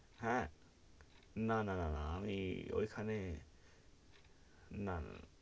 হেঁ, না না না না আমি ওই খানে না না,